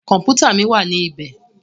Kọ̀mpútà mí wá ní ibẹ̀.